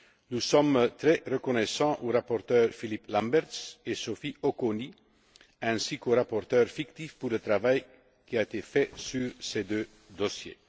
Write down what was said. Nous sommes très reconnaissants aux rapporteurs, Philippe Lamberts et Sophie Auconie, ainsi qu'aux rapporteurs fictifs, pour le travail qui a été fait sur ces deux dossiers.